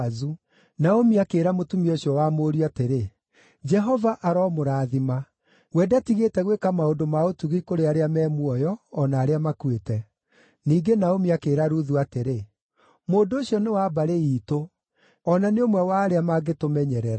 Naomi akĩĩra mũtumia ũcio wa mũriũ atĩrĩ, “Jehova aromũrathima! We ndatigĩte gwĩka maũndũ ma ũtugi kũrĩ arĩa me muoyo, o na arĩa makuĩte.” Ningĩ Naomi akĩĩra Ruthu atĩrĩ, “Mũndũ ũcio nĩ wa mbarĩ iitũ; o na nĩ ũmwe wa arĩa mangĩtũmenyerera.”